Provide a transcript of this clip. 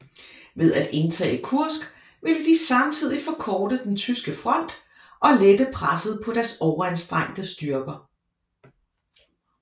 Ved at indtage Kursk ville de samtidigt forkorte den tyske front og lette presset på deres overanstrengte styrker